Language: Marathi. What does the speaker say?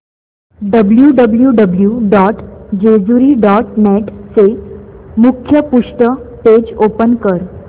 W W W dot Jejuri dot net चे मुखपृष्ठ पेज ओपन कर